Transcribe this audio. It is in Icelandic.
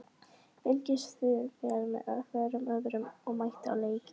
Fylgist þið vel með hvorum öðrum og mætið á leiki?